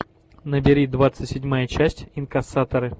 набери двадцать седьмая часть инкассаторы